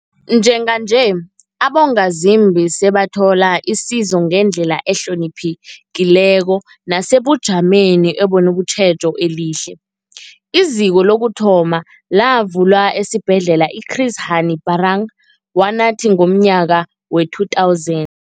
Njenganje, abongazimbi sebathola isizo ngendlela ehloniphekileko nesebujameni obunetjhejo elihle. IZiko lokuthoma lavulwa esiBhedlela i-Chris Hani Baragwanath ngomnyaka we-2000.